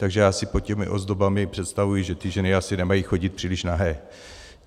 Takže já si pod těmi ozdobami představuji, že ty ženy asi nemají chodit příliš nahé.